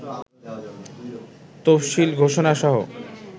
তফসিল ঘোষণাসহ